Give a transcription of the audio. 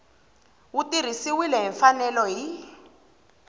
wu tirhisiwile hi mfanelo hi